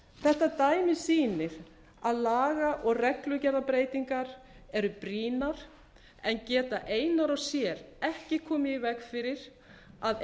þetta dæmi sýnir að laga og reglugerðarbreytingar eru brýnar en geta einar og sér ekki komið í veg fyrir að